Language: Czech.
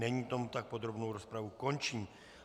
Není tomu tak, podrobnou rozpravu končím.